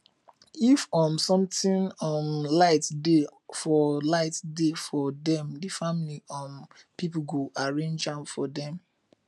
if um somtin um lite dey for lite dey for dem di family um pipo go arrange am for dem